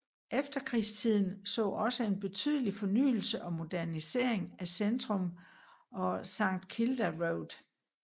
Efterkrigstiden så også en betydelig fornyelse og modernisering af centrum og St Kilda Road